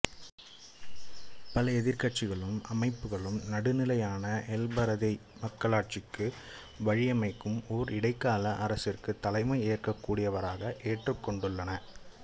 பல எதிர்கட்சிகளும் அமைப்புகளும் நடுநிலையான எல்பரதேய் மக்களாட்சிக்கு வழியமைக்கும் ஓர் இடைக்கால அரசிற்கு தலைமை ஏற்கக்கூடியவராக ஏற்றுக்கொண்டுள்ளன